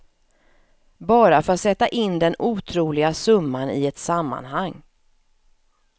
Bara för att sätta in den otroliga summan i ett sammanhang.